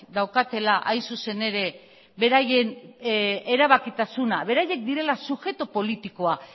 daukatela hain zuzen ere beraien erabakitasuna beraiek direla subjektu politikoa